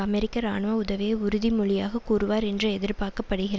அமெரிக்க இராணுவ உதவிய உறுதிமொழியாக கூறுவார் என்று எதிர்பார்க்கப்படுகிற